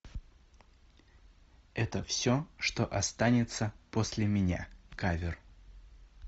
это все что останется после меня кавер